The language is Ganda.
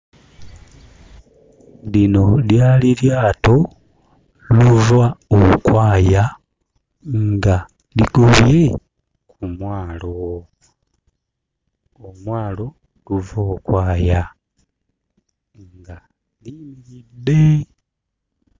Lino lyali lyato luvookwaya nga ligobye ku mwalo, omwalo luvookwaya nga liyimiridde.